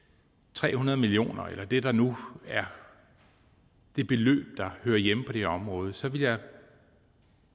tre hundrede million kroner eller det der nu er det beløb der hører hjemme på det her område så ville jeg